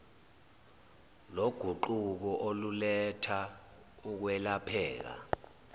loguquko oluletha ukwelapheka